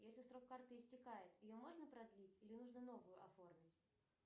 если срок карты истекает ее можно продлить или нужно новую оформить